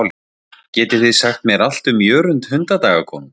Geti þið sagt mér allt um Jörund hundadagakonung?